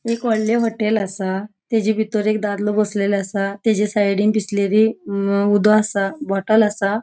एक होडले होटेल असा तेजे भितर एक दादलों बसलेलों असा. तेचा साइडीन बिस्लेरी अ उदो असा. बोटल असा.